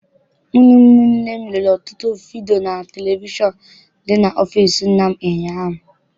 Mụ na ụmụnne m lerere ọtụtụ vidiyo na televishọn dị n'ọfịịsi nna m ụnyaahụ.